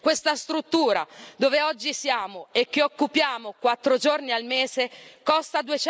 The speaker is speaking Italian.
Questa struttura, dove oggi siamo e che occupiamo quattro giorni al mese costa